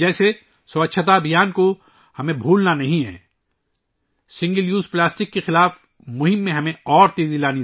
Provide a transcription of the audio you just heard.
جیسے، ہمیں 'سووچھتا مہم ' کو بھولنا نہیں ہے، ہمیں سنگل یوز پلاسٹک کے خلاف مہم کو تیز کرنا چاہیئے